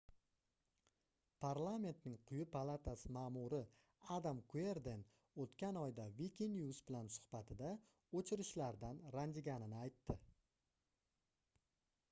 parlamentning quyi palatasi maʼmuri adam kuerden oʻtgan oyda wikinews bilan suhbatida oʻchirishlardan ranjiganini aytdi